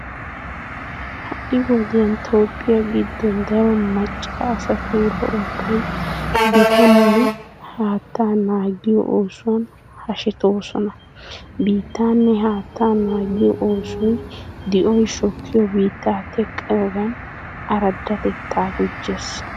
Ha"i wodiyan toophphiya giddon daro macca asaatuura ubbay biittaanne haattaa naagiyo oosuwan hashetoosona. Biittaanne haattaa naagiyo oosoy di'oy shokkiyo biittaa teqqiyogan araddatettaa gujjees .